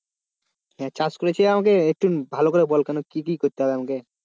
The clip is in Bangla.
চাষ করেছি আমাকে একটু ভালো করে বল কেন কি কি করতে হবে আমাকে?